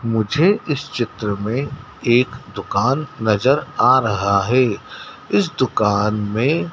मुझे इस चित्र में एक दुकान नजर आ रहा है इस दुकान में--